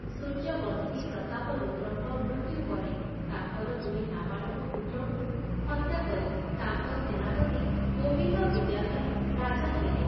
ସୂର୍ଯ୍ୟବଂଶୀ ପ୍ରତାପରୁଦ୍ରଙ୍କ ମୃତ୍ୟୁ ପରେ ତାଙ୍କର ଦୁଇ ନାବାଳକ ପୁତ୍ରଙ୍କୁ ହତ୍ୟା କରି ତାଙ୍କ ସେନାପତି ଗୋବିନ୍ଦ ବିଦ୍ୟାଧର ରାଜା ହେଲେ।